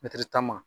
tan ma